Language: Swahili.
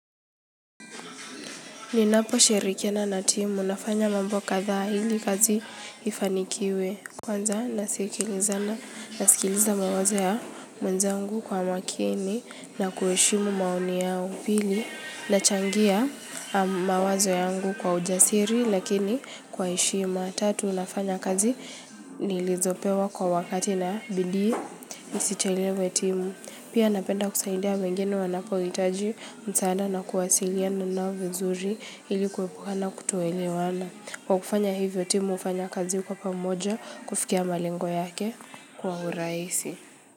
Ninaposhirikiana na timu nafanya mambo kadhaa ili kazi ifanikiwe. Kwanza nasikilizana, nasikiliza mawazo ya wenzangu kwa makini na kuheshimu maoni yao, pili nachangia mawazo yangu kwa ujasiri lakini kwa heshima, tatu nafanyakazi nilizopewa kwa wakati na bidii nisichelewe timu. Pia napenda kusaidia wengini wanapohitaji msaada na kuwasiliana nao vizuri ili kuepuka na kutoelewana kwa kufanya hivyo timu ufanya kazi kwa pamoja kufikia malengo yake kwa urahisi.